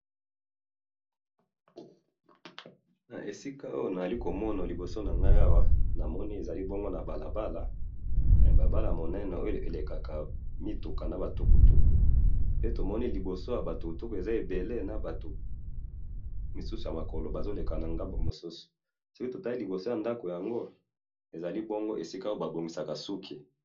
Na moni balabala na ba mituka ebele , na liboso na yango esika ba bongisaka suki.